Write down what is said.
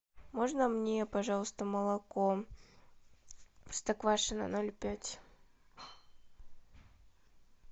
можно мне пожалуйста молоко простоквашино ноль пять